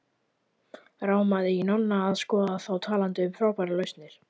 Rámaði í Nonna að skoða þá talandi um frábærar lausnir.